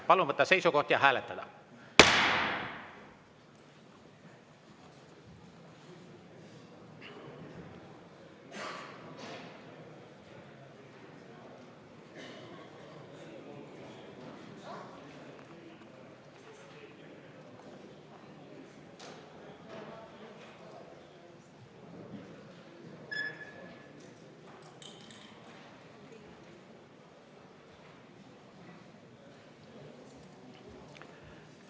Palun võtta seisukoht ja hääletada!